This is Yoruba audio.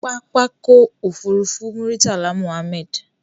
Pápákọ̀ òfurufú Muritala Muhammed.